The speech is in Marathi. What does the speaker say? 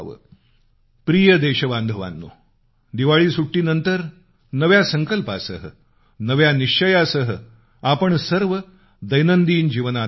प्रिय देशबांधवानो दिवाळी सुट्टीनंतर नव्या संकल्पासह नव्या निश्चयासह आपण सर्व दैनंदिन जीवनात आला असाल